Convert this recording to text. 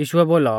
यीशुऐ बोलौ